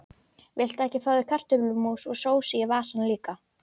Það var ekki mikillar hvatningar að vænta frá Ársæli Eiríkssyni.